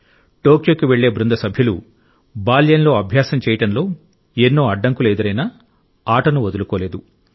టోక్యోకు వెళ్ళే బృంద సభ్యులు బాల్యంలో అభ్యాసం చేయడంలో ఎన్నో అడ్డంకులు ఎదురైనా ఆటను వదులుకోలేదు